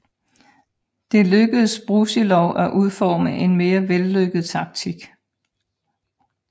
Det lykkedes Brusilov at udforme en mere vellykket taktik